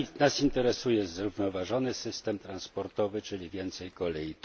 Nas interesuje zrównoważony system transportowy, czyli więcej kolei.